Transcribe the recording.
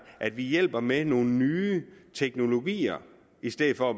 at vi hjælper med nogle nye teknologier i stedet for